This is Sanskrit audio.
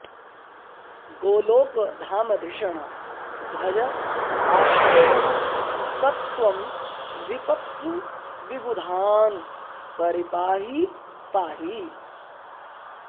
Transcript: गोलोकधामधिषणध्वज आदिदेवः स त्वं विपत्सु विबुधान् परिपाहि पाहि